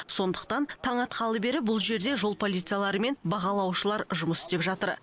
сондықтан таң атқалы бері бұл жерде жол полициялары мен бағалаушылар жұмыс істеп жатыр